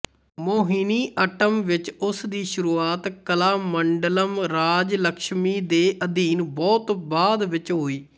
ਮੋਹਿਨੀਅੱਟਮ ਵਿੱਚ ਉਸ ਦੀ ਸ਼ੁਰੂਆਤ ਕਲਾਮੰਡਲਮ ਰਾਜਲਕਸ਼ਮੀ ਦੇ ਅਧੀਨ ਬਹੁਤ ਬਾਅਦ ਵਿੱਚ ਹੋਈ